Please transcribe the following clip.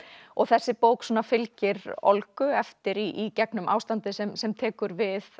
og þessi bók fylgir Olgu eftir í gegnum ástandið sem sem tekur við